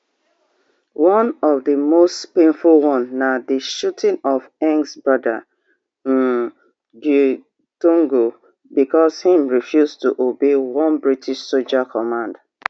one of di most painful one na di shooting of nggs brother um gitogo becos im refuse to obey one british soldier command